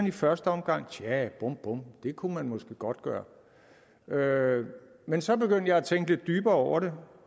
i første omgang tja bum bum det kunne man måske godt gøre gøre men så begyndte jeg at tænke lidt dybere over det